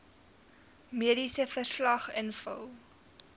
mediese verslag invul